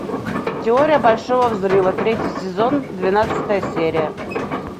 теория большого взрыва третий сезон двенадцатая серия